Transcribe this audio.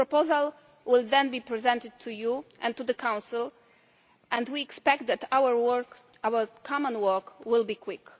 It will then be presented to you and to the Council, and we expect that our common work will be